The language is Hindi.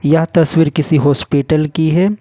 यह तस्वीर किसी हॉस्पिटल की है।